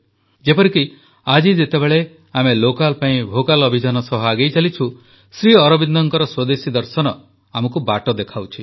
ଯେପରିକି ଆଜି ଯେତେବେଳେ ଆମେ ଲୋକାଲ ପାଇଁ ଭୋକାଲ୍ ଅଭିଯାନ ସହ ଆଗେଇ ଚାଲିଛୁ ଶ୍ରୀଅରବିନ୍ଦଙ୍କ ସ୍ୱଦେଶୀ ଦର୍ଶନ ଆମକୁ ବାଟ ଦେଖାଉଛି